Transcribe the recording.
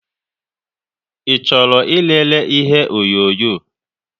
I chọrọ ị lele ihe onyonyo?